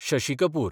Shashi Kapoor